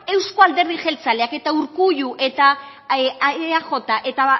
euskal alderdi jeltzaleak eta urkullu eta eaj eta